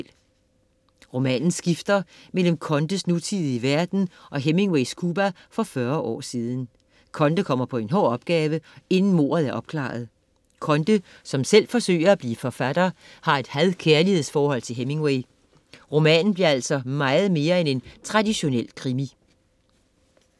Romanen skifter mellem Condes nutidige verden og Hemingways Cuba for fyrre år siden. Conde kommer på en hård opgave, inden mordet er opklaret. Conde som selv forsøger at blive forfatter, har et had-kærligheds forhold til Hemingway. Romanen bliver altså meget mere end en traditionel krimi.